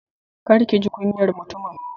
Kar kiji kunyar mutumin